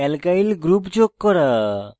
alkyl groups যোগ করা